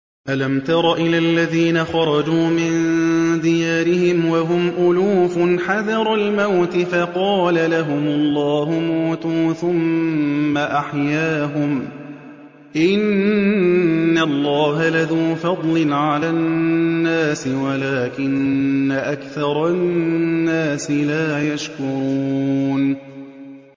۞ أَلَمْ تَرَ إِلَى الَّذِينَ خَرَجُوا مِن دِيَارِهِمْ وَهُمْ أُلُوفٌ حَذَرَ الْمَوْتِ فَقَالَ لَهُمُ اللَّهُ مُوتُوا ثُمَّ أَحْيَاهُمْ ۚ إِنَّ اللَّهَ لَذُو فَضْلٍ عَلَى النَّاسِ وَلَٰكِنَّ أَكْثَرَ النَّاسِ لَا يَشْكُرُونَ